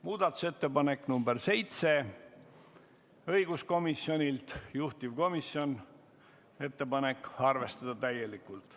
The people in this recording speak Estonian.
Muudatusettepanek nr 7 on õiguskomisjonilt, juhtivkomisjoni ettepanek on arvestada seda täielikult.